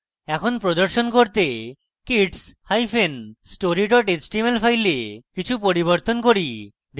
এখন প্রদর্শন করতে kidsstory html file কিছু পরিবর্তন করি